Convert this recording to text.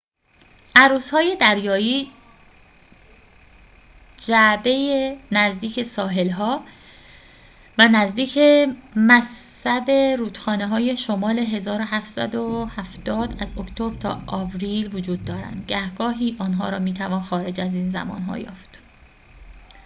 عروس‌های دریایی جعبه‌ای نزدیک ساحل‌ها و نزدیک مصب رودخانه‌های شمال ۱۷۷۰ از اکتبر تا آوریل وجود دارند گهگاهی آنها را می‌توان خارج از این زمان‌ها یافت